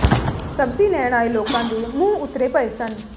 ਸਬਜ਼ੀ ਲੈਣ ਆਏ ਲੋਕਾਂ ਦੇ ਮੂੰਹ ਉੱਤਰੇ ਪਏ ਸਨ